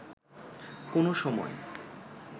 কোন সময়